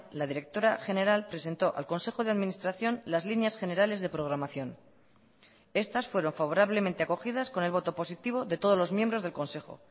la directora general presentó al consejo de administración las líneas generales de programación estas fueron favorablemente acogidas con el voto positivo de todos los miembros del consejo